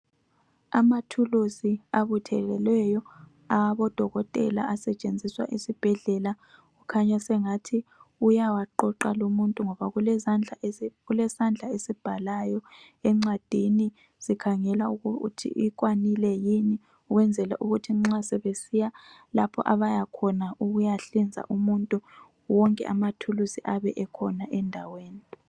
Amathulusi abuthelweleyo awabodokotela asetshenziswa esibhedlela kukhanya sengathi uyawaqoqa lumuntu ngoba kulesandla esibhalayo encwadini sikhangela ukuthi ikwanile ukwenzela ukuthi nxa sebesiya lapho abayakhona ukuyahlinza umuntu wonke amathulusi ayabe ekhona endaweni.